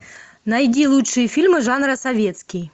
найди лучшие фильмы жанра советский